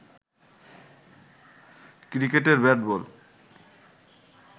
ক্রিকেটের ব্যাট বল